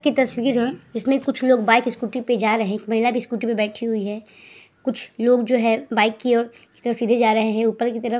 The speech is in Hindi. की तस्वीर जो है। इसमें कुछ लोग बाइक स्कूटी पे जा रहे हैं। एक महिला भी स्कूटी पे बैठी हुई है। कुछ लोग जो है बाइक की ओर सीधे जा रहे है। ऊपर की तरफ --